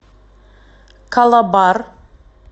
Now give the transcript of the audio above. калабар